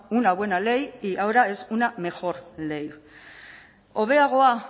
una buena ley y ahora es una mejor ley hobeagoa